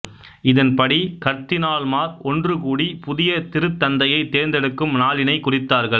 இதன்படி கர்தினால்மார் ஒன்றுகூடி புதிய திருத்தந்தையைத் தேர்ந்தெடுக்கும் நாளினைக் குறித்தார்கள்